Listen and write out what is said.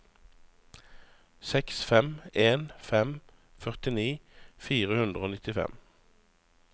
seks fem en fem førtini fire hundre og nittifem